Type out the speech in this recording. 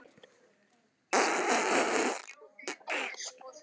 Þegar þeir voru sestir niður, innarlega í vestara rými